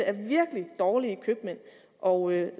er virkelig dårlige købmænd og